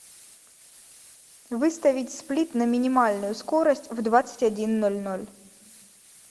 выставить сплит на минимальную скорость в двадцать один ноль ноль